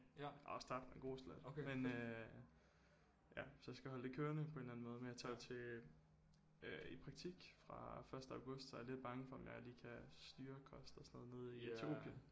Jeg har også tabt en god slat men øh ja så jeg skal holde det kørende på en eller anden måde men jeg tager jo til øh i praktik fra første august så jeg er lidt bange for om jeg lige kan styre kost og sådan noget nede i Etiopien